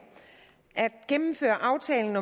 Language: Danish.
gennemføre aftalen